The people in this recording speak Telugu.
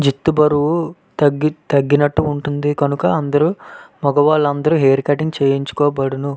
జుట్టు బరువు తగ్గి తగినట్టుగా ఉంటుంది.కనుక అందరూ మగవారందరూ హెయిర్ కటింగ్ చేయించుకోబడును.